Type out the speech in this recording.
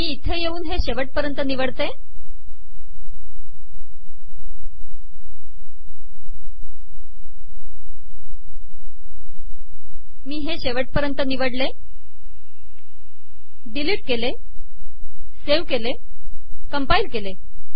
मी येथे येऊन हे शेवटपर्यंत निवडते डिलीट करते सेव्ह करते कंपाईल करते